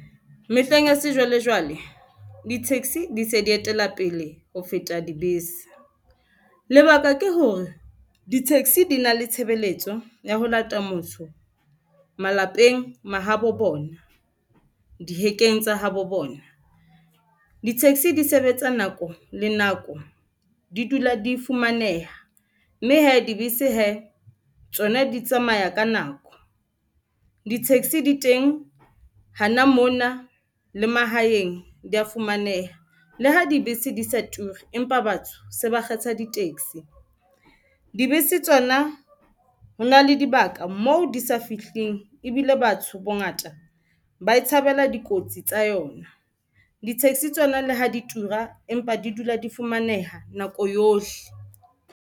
Mehleng ya sejwalejwale di-taxi di se di etela pele ho feta dibese, lebaka ke hore di taxi di na le tshebeletso ya ho lata motho malapeng mahabo bona dihekeng tsa habo bona. Di-taxi di sebetsa nako le nako, di dula di fumaneha, mme hee dibese hee tsona di tsamaya ka nako. Di-taxi di teng hana mona le mahaeng dia fumaneha le ha dibese di sa turi, empa batho se ba kgetha di-taxi. Dibese tsona ho na le dibaka mo di sa fihling ebile batho bongata ba e tshabela dikotsi tsa yona. Di-taxi tsona le ha di tura empa di dula di fumaneha nako yohle.